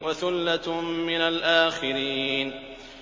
وَثُلَّةٌ مِّنَ الْآخِرِينَ